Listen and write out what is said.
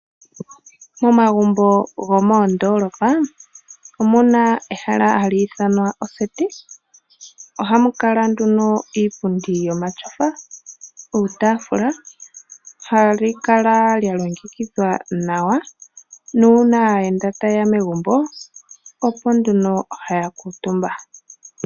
Momagumbo gomoondoolopa omuna ehala hali ithanwa oseti. Ohamu kala nduno iipundi yomatyofa, uutafula. Ohali kala lya longekidhwa nawa nuuna aaayenda tayeya megumbo opo nduno haya kuutumba .